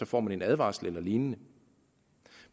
får en advarsel eller lignende